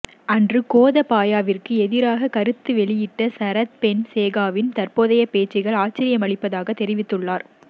அன்று கோதபாயவிற்கு எதிராக கருத்து வெளியிட்ட சரத் பொன்சேகாவின் தற்போதைய பேச்சுக்கள் ஆச்சரியமளிப்பதாகத் தெரிவித்துள்ளார்